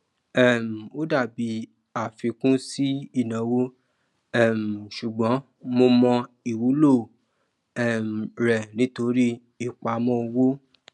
um ó dàbí àfikún sí ìnáwó um ṣùgbón mo mọ ìwúlò um rẹ nítorí ìpamọ owó